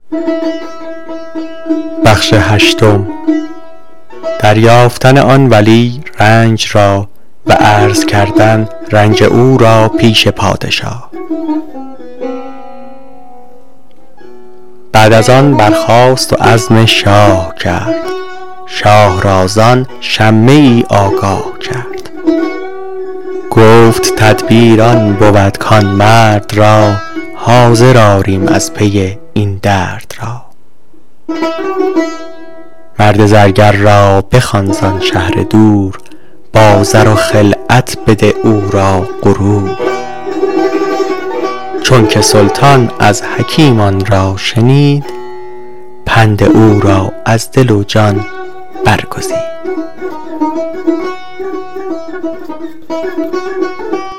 بعد از آن برخاست و عزم شاه کرد شاه را زان شمه ای آگاه کرد گفت تدبیر آن بود کان مرد را حاضر آریم از پی این درد را مرد زرگر را بخوان زان شهر دور با زر و خلعت بده او را غرور